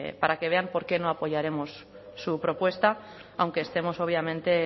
para que vean por qué no apoyaremos su propuesta aunque estemos obviamente